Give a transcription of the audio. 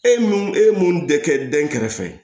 E mun e ye mun de kɛ den kɛrɛfɛ